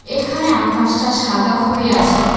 এখানে আকাশটা সাদা হয়ে আছে।